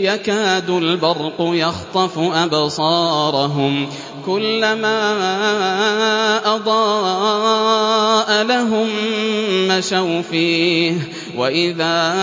يَكَادُ الْبَرْقُ يَخْطَفُ أَبْصَارَهُمْ ۖ كُلَّمَا أَضَاءَ لَهُم مَّشَوْا فِيهِ وَإِذَا